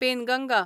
Penganga